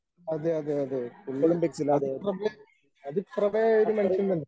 അതെ അതെ അതെ പുള്ളി അതി പ്രഭ അതിപ്രഭയായ ഒരു മനുഷ്യൻ തന്നെ.